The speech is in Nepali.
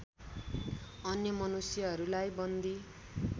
अन्य मनुष्यहरूलाई बन्दी